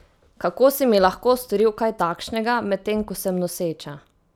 Kako si mi lahko storil kaj takšnega, medtem ko sem noseča?